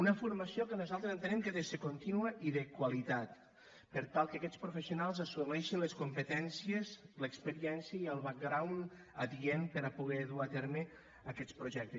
una formació que nosaltres entenem que ha de ser continua i de qualitat per tal que aquests professionals assoleixen les competències l’experiència i el background adient per a poder dur a terme aquests projectes